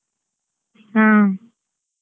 ಹಾ.